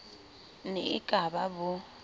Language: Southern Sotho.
ne e ka ba bo